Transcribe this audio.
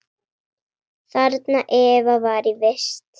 Þarna Eva var í vist.